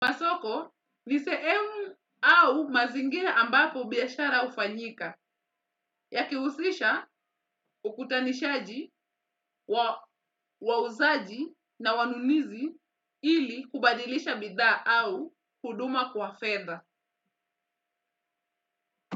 Niseemu au mazingira ambapo biyashara ufanyika yakiusisha ukutanishaji wa wauzaji na wanunizi ili kubadilisha bidha au huduma kwa fedha.